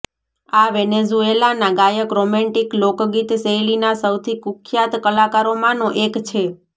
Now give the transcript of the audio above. આ વેનેઝુએલાના ગાયક રોમેન્ટિક લોકગીત શૈલીના સૌથી કુખ્યાત કલાકારોમાંનો એક છે